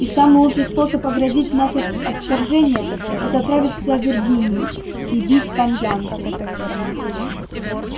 и самый лучший способ оградить нас от вторжения это отправиться в виргинию и бить там янки